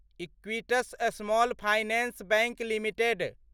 Equitas Small Finance Bank limited